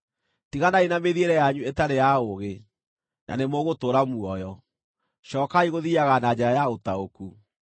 Tiganai na mĩthiĩre yanyu ĩtarĩ ya ũũgĩ, na nĩmũgũtũũra muoyo; cookai gũthiiaga na njĩra ya ũtaũku.